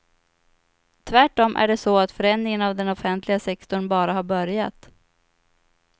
Tvärtom är det så att förändringen av den offentliga sektorn bara har börjat.